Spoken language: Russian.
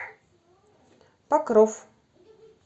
покров